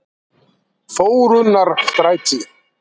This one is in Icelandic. Þórunnarstræti